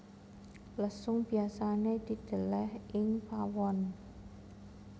Lesung biasané didèlèh ing pawon